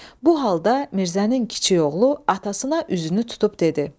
Bu halda Mirzənin kiçik oğlu atasına üzünü tutub dedi.